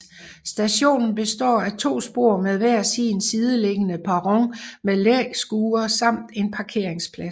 Stationen består af to spor med hver sin sideliggende perron med læskure samt en parkeringsplads